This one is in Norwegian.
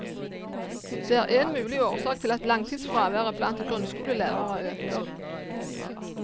Det er én mulig årsak til at langtidsfraværet blant grunnskolelærere øker.